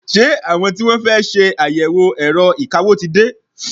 Ṣé àwọn tí wọ́n fẹ́ ṣe àyẹ̀wò ẹ̀rọ ìkawó ti dé?